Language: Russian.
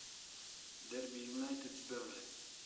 дерби юнайтед с бернли